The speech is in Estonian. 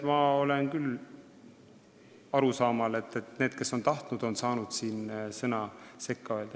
Ma olen küll arusaamal, et need, kes on tahtnud, on saanud siin sõna sekka öelda.